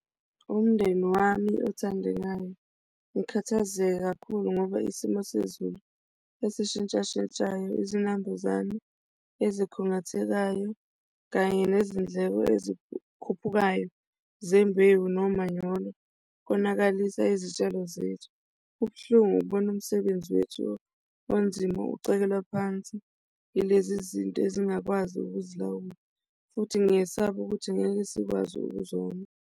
Umndeni wami othandekayo, ngikhathazeke kakhulu ngoba isimo sezulu esishintshashintshayo, izinambuzane ezikhungathekisayo kanye nezindleko ezikhuphukayo zembewu nomanyolo konakalisa izitshalo zethu. Kubuhlungu ukubona umsebenzi wethu onzima ucekelwa phansi yilezi zinto ezingakwazi ukuzilawula. Futhi ngiyesaba ukuthi ngeke sikwazi ukuzona.